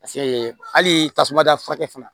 hali tasuma dafa fana